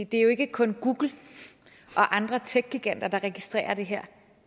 det er jo ikke kun google og andre techgiganter der registrerer det her